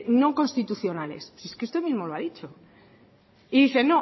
no constitucionales usted mismo lo ha dicho y dice